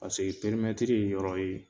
Paseke ye yɔrɔ ye